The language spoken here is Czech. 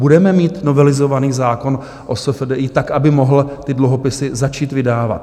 Budeme mít novelizovaný zákon o SFDI tak, aby mohl ty dluhopisy začít vydávat?